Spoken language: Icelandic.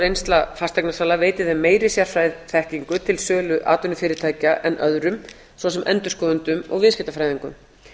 reynsla fasteignasala veiti þeim meiri sérfræðiþekkingu til sölu atvinnufyrirtækja en öðrum svo sem endurskoðendum og viðskiptafræðingum